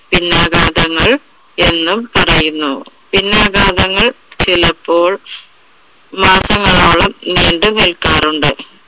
പിന്നാഘാതങ്ങൾ എന്നും പറയുന്നു പിന്നാഘാതങ്ങൾ ചിലപ്പോൾ മാസങ്ങളോളം നീണ്ടു നിൽക്കാറുണ്ട്.